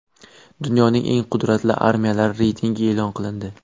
Dunyoning eng qudratli armiyalari reytingi e’lon qilindi.